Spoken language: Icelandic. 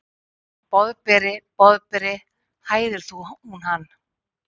Boðberi, Boðberi, hæðir hún hann.